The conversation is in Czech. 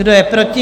Kdo je proti?